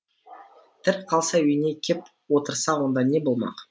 тірі қалса үйіне кеп отырса онда не болмақ